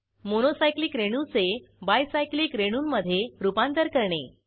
mono cyclic रेणूचे bicyclic रेणूंमधे रूपांतर करणे